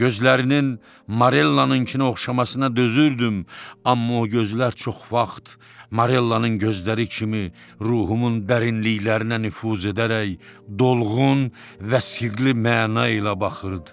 Gözlərinin Marellanınkına oxşamasına dözürdüm, amma o gözlər çox vaxt Marellanın gözləri kimi ruhumun dərinliklərinə nüfuz edərək dolğun və sıxlı məna ilə baxırdı.